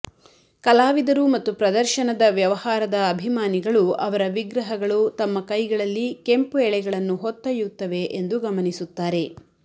ಕಲಾವಿದರು ಮತ್ತು ಪ್ರದರ್ಶನದ ವ್ಯವಹಾರದ ಅಭಿಮಾನಿಗಳು ಅವರ ವಿಗ್ರಹಗಳು ತಮ್ಮ ಕೈಗಳಲ್ಲಿ ಕೆಂಪು ಎಳೆಗಳನ್ನು ಹೊತ್ತೊಯ್ಯುತ್ತವೆ ಎಂದು ಗಮನಿಸುತ್ತಾರೆ